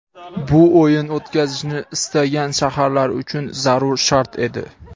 bu o‘yin o‘tkazishni istagan shaharlar uchun zarur shart edi.